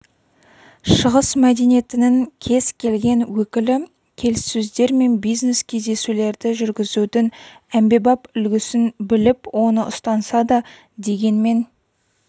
шығыс мәдениетінің кез келген өкілі келіссөздер мен бизнес-кездесулерді жүргізудің әмбебап үлгісін біліп оны ұстанса да дегенмен